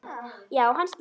Já, hann slapp.